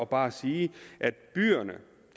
bare at sige at byerne